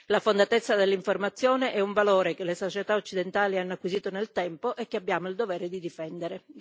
La fondatezza dell'informazione è un valore che le società occidentali hanno acquisito nel tempo e che abbiamo il dovere di difendere.